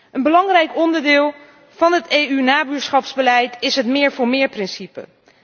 Een belangrijk onderdeel van het EU nabuurschapsbeleid is het meer voor meer principe.